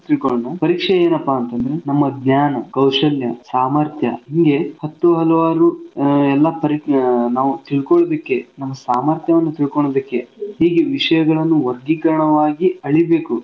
ತಿಳ್ಕೊಳೋಣ. ಪರೀಕ್ಷೆ ಏನಪಾ ಅಂತಂದ್ರೆ ನಮ್ಮ ಜ್ಞಾನ, ಕೌಶಲ್ಯ, ಸಾಮರ್ಥ್ಯ ಹಿಂಗೆ ಹತ್ತು ಹಲವಾರು ಆಹ್ ಎಲ್ಲಾ ಪರಿ ಆಹ್ ನಾವು ತಿಳ್ಕೊಳ್ಲೋದಿಕ್ಕೆ ತಿಳ್ಕೊಳ್ಲೋದಿಕ್ಕೆ ನಮ್ ಸಾಮರ್ಥ್ಯವನ್ ತಿಳ್ಕೊಳ್ಲೋದಿಕ್ಕೆ ಹೀಗೆ ವಿಷ್ಯಗಳನ್ ವರ್ಗೀಕರಣವಾಗಿ ಅಳೀಬೇಕು.